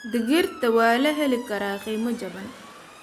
Digirta waa la heli karaa qiimo jaban.